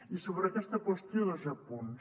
i sobre aquesta qüestió dos apunts